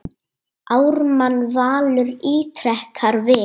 Ármann Valur ítrekar við